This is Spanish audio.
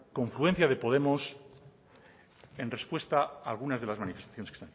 confluencia de podemos en respuesta a algunas de las manifestaciones